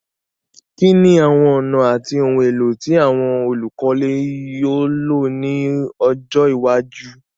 Kíní àwon ònà àti oun élò ti àwon olùkọ́lé yio lo ni ojó iwájú